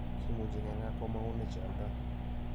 Kimuuchi keng'aa komang'une che aldoi.